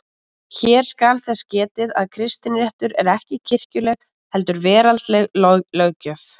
Hér skal þess getið að kristinréttur er ekki kirkjuleg heldur veraldleg löggjöf.